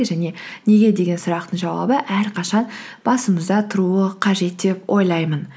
және неге деген сұрақтың жауабы әрқашан басымызда тұруы қажет деп ойлаймын